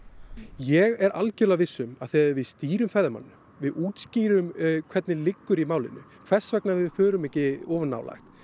ég er algjörlega viss um að þegar við stýrum ferðamanninum við útskýrum hvernig liggur í málinu hvers vegna við förum ekki of nálægt